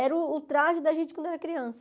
Era o o traje da gente quando era criança.